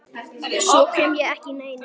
Svo sem ekki neinu.